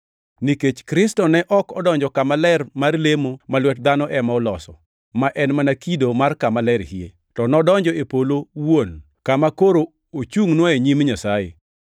Nikech Kristo ne ok odonjo kama ler mar lemo ma lwet dhano ema oloso, ma en mana kido mar Kama Ler hie, to nodonjo e polo wuon, kama koro ochungʼnwa e nyim Nyasaye.